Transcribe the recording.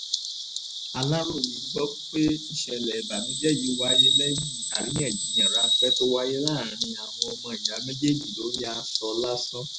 aláròye gbọ́ pé ìṣẹ̀lẹ̀ ìbànújẹ́ yìí wáyé lẹ́yìn àríyànjiyàn ráńpẹ́ tó wáyé láàrin àwọn ọmọ ìyá méjèèjì lórí aṣọ lásán